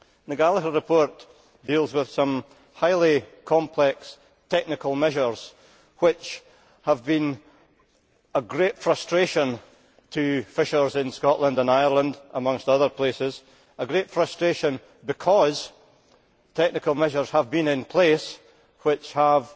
The Gallagher Report deals with some highly complex technical measures which have been of great frustration to fishers in Scotland and Ireland, amongst other places a great frustration because technical measures have been in place which have